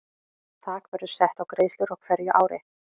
Þak verður sett á greiðslur á hverju ári.